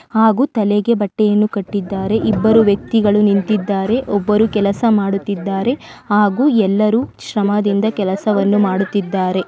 ಹಾಗು ತಲೆಗೆ ಬಟ್ಟೆಯನ್ನು ಕಟ್ಟಿದರೆ ಇಬ್ಬರು ವ್ಯಕ್ತಿಗಳು ನಿಂತಿದ್ದಾರೆ ಹಾಗೂ ಒಬ್ಬರು ಕೆಲಸ ಮಾಡುತ್ತಿದ್ದಾರೆ ಹಾಗೆ ಎಲ್ಲರೂ ಶ್ರಮದಿಂದ ಕೆಲಸವನ್ನು ಮಾಡುತ್ತಿದ್ದಾರೆ.